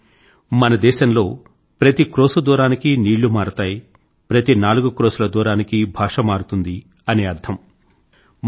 అంటే మన దేశంలో ప్రతి క్రోశు దూరానికీ నీళ్ళు మారతాయి ప్రతి నాలుగు క్రోశుల దూరానికీ భాష మారుతుంది అని అర్థం